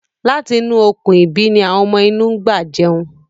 Láti inú Okùn-ìbí ni àwọn ọmọ inú ń gbà jẹun.